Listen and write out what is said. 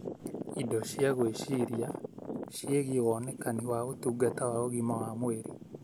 Indo cia gwĩciria ciĩgie wonekani wa ũtungata wa ũgima wa mwĩrĩ